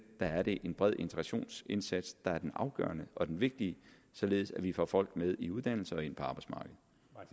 der er det en bred integrationsindsats der er det afgørende og det vigtige således at vi får folk i uddannelse og ind på arbejdsmarkedet